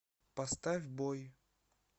поставь бой